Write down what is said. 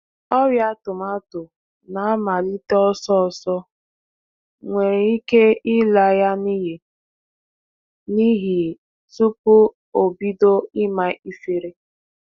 Ọrịa tomato na- amalite ọsọọsọ nwere ike ịla ya n'iyi n'ihi tupuu o bido ịma ifiri.